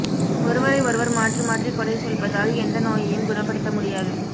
ஒருவரை ஒருவர் மாற்றி மாற்றி குறை சொல்வதால் எந்த நோயையும் குணப்படுத்த முடியாது